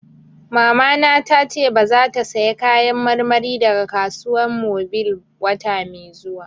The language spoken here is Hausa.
Mamana ta ce ba za ta saya Kayan marmari daga Kasuwan Mobil wata mai zuwa ba